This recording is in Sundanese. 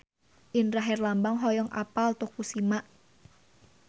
Indra Herlambang hoyong apal Tokushima